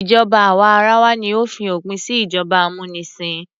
Ìjọba àwa arawa ni ó fi òpin sí ìjọba amúnisìn.